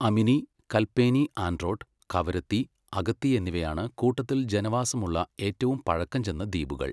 അമിനി, കൽപേനി ആൻഡ്രോട്ട്, കവരത്തി, അഗത്തി എന്നിവയാണ് കൂട്ടത്തിൽ ജനവാസമുള്ള ഏറ്റവും പഴക്കം ചെന്ന ദ്വീപുകൾ.